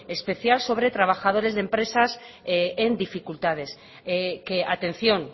especial sobre trabajadores de empresas en dificultades que atención